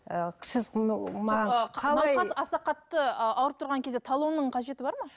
і сіз аса қатты ы ауырып тұрған кезде талонның қажеті бар ма